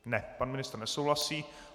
Ne, pan ministr nesouhlasí.